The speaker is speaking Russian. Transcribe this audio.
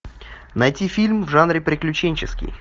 найти фильм в жанре приключенческий